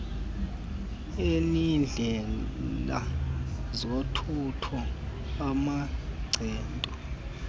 ineendlela zothutho amancedo